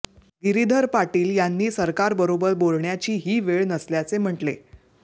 गिरीधर पाटील यांनी सरकारबरोबर बोलण्याची ही वेळ नसल्याचे म्हटले